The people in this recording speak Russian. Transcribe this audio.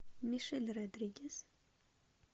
мишель родригес